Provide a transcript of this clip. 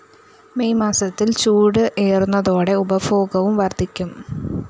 May മാസത്തില്‍ ചൂട് ഏറുന്നതോടെ ഉപഭോഗവും വര്‍ദ്ധിക്കും